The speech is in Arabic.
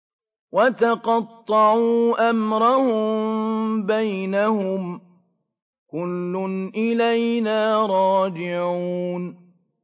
وَتَقَطَّعُوا أَمْرَهُم بَيْنَهُمْ ۖ كُلٌّ إِلَيْنَا رَاجِعُونَ